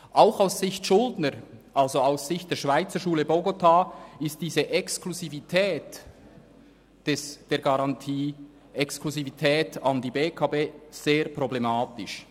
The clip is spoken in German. Auch aus Sicht des Schuldners, also aus Sicht der Schweizerschule Bogotá, ist diese Exklusivität der Garantie an die BEKB sehr problematisch.